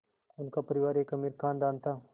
उनका परिवार एक अमीर ख़ानदान था